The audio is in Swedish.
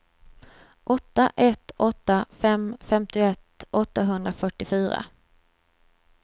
åtta ett åtta fem femtioett åttahundrafyrtiofyra